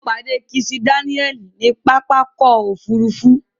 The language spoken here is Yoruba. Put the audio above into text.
Mo pàdé Kisi Dáníẹ̀lì ní pápákọ̀ òfurufú.